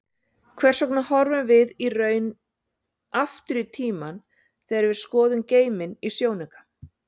Hvers vegna horfum við í raun aftur í tímann þegar við skoðum geiminn í sjónauka?